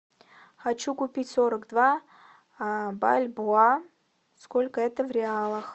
хочу купить сорок два бальбоа сколько это в реалах